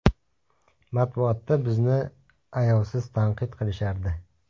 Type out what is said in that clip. Matbuotda bizni ayovsiz tanqid qilishardi.